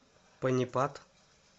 панипат